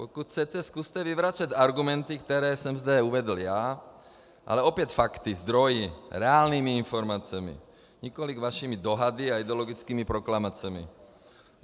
Pokud chcete, zkuste vyvracet argumenty, které jsem zde uvedl já, ale opět fakty, zdroji, reálnými informacemi, nikoli vašimi dohady a ideologickými proklamacemi.